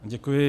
Děkuji.